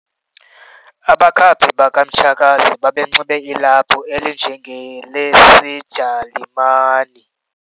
Abakhaphi bakamtshakazi bebenxibe ilaphu elinjengelesijalimani.